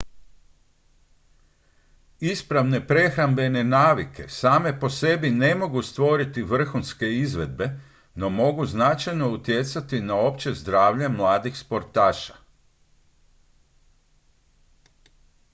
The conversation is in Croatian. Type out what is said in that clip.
ispravne prehrambene navike same po sebi ne mogu stvoriti vrhunske izvedbe no mogu značajno utjecati na opće zdravlje mladih sportaša